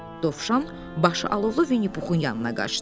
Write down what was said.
Dovşan başı alovlu Vinnipuxun yanına qaçdı.